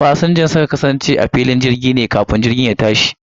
Fasinjojin sukan kasance ne a filin jirgi sa'o'i kafin tashin jirgi